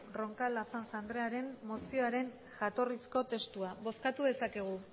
roncal azanza andrearen mozioaren jatorrizko testua bozkatu dezakegu